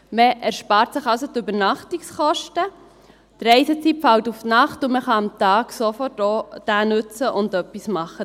Man spart sich also die Übernachtungskosten, die Reisezeit fällt auf die Nacht, und man kann den Tag sofort auch nutzen und etwas damit machen.